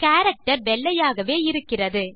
character வெள்ளையாகவே இருக்கிறது